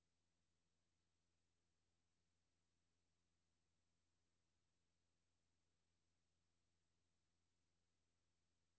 Da natdykning sætter store krav til planlægning, bruger vi ventetiden, inden solen går ned, til at gennemgå håndsignaler og andre praktiske foranstaltninger.